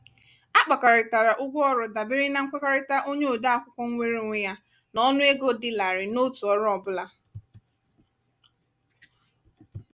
a kpakọrịtara ụgwọ ọrụ dabere na nkwekọrịta onye ode akwụkwọ nweere onwe ya n'ọnụego dị larịị n'otu ọrụ ọ bụla.